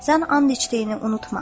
Sən and içdiyini unutma.